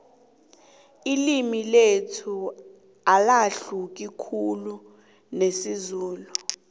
ililmi lethu alahluki khulu nesizulu